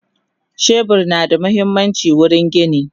shebur na da muhimmanci wurin gini